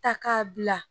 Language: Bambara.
Ta k'a bila